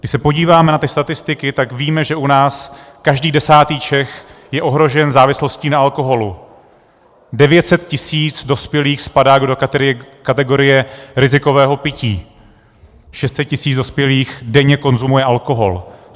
Když se podíváme na ty statistiky, tak víme, že u nás každý desátý Čech je ohrožen závislostí na alkoholu, 900 tisíc dospělých spadá do kategorie rizikového pití, 600 tisíc dospělých denně konzumuje alkohol.